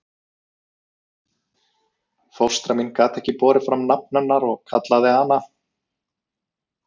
Fóstra mín gat ekki borið fram nafn hennar og kallaði hana